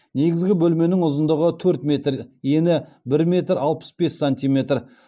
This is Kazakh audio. негізгі бөлменің ұзындығы төрт метр ені бір метр алпыс бес сантиметр